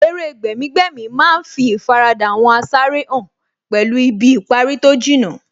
Eré gbẹ̀mí-gbẹ̀mí má ń fí ìfaradà àwọn asáré hàn pẹ̀lú ibi ìparí tó jìnnà